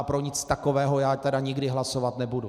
A pro nic takového já tedy nikdy hlasovat nebudu.